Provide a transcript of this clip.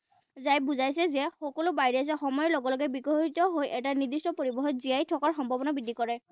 ঝাই বুজাইছে যে সকলো virus এ সময়ৰ লগে লগে বিকশিত হৈ এটা নিৰ্দিষ্ট পৰিৱেশত জীয়াই থকাৰ সম্ভাৱনা বৃদ্ধি কৰে।